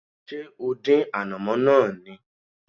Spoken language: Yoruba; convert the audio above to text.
Ṣé o dín ànàmọ́ náà ni?